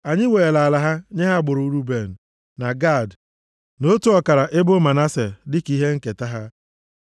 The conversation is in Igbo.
Anyị weere ala ha nye agbụrụ Ruben, na Gad, na otu ọkara ebo Manase, dịka ihe nketa ha.